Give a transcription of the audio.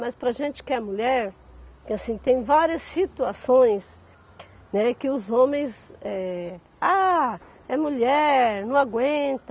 Mas para a gente que é mulher, que assim, tem várias situações, né, que os homens, eh... Ah, é mulher, não aguenta.